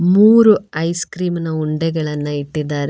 ಮೂರು ice cream ನ ಉಂಡೆಗಳನ್ನ ಇಟ್ಟಿದ್ದಾರೆ.